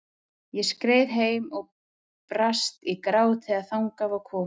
Ég skreið heim og brast í grát þegar þangað var komið.